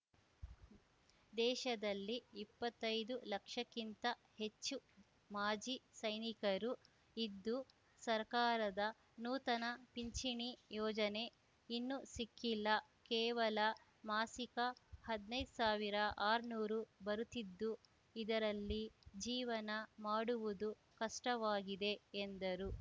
ದೇಶದಲ್ಲಿ ಇಪ್ಪತ್ತೈದು ಲಕ್ಷಕ್ಕಿಂತ ಹೆಚ್ಚು ಮಾಜಿ ಸೈನಿಕರು ಇದ್ದು ಸರ್ಕಾರದ ನೂತನ ಪಿಂಚಿಣಿ ಯೋಜನೆ ಇನ್ನೂ ಸಿಕ್ಕಿಲ್ಲ ಕೇವಲ ಮಾಸಿಕ ಹದ್ನೈದ್ ಸಾವಿರ ಆರ್ನೂರು ಬರುತ್ತಿದ್ದು ಇದರಲ್ಲಿ ಜೀವನ ಮಾಡುವುದು ಕಷ್ಟವಾಗಿದೆ ಎಂದರು